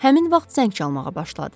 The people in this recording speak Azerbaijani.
Həmin vaxt zəng çalmağa başladı.